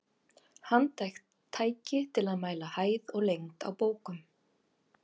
Handhægt tæki til að mæla hæð og lengd á bókum.